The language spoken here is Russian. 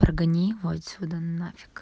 прогони его отсюда нафиг